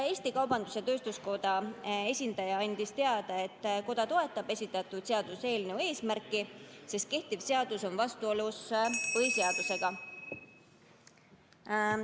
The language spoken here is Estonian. Eesti Kaubandus-Tööstuskoja esindaja andis teada, et koda toetab esitatud seaduseelnõu eesmärki, sest kehtiv seadus on vastuolus põhiseadusega.